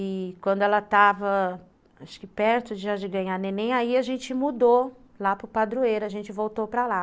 E quando ela estava, acho que perto de ganhar neném, aí a gente mudou lá para o padroeiro, a gente voltou para lá.